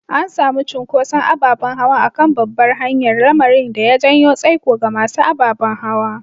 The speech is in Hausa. An samu cunkoson ababen hawa a kan babbar hanyar, lamarin da ya janyo tsaiko ga masu ababen hawa.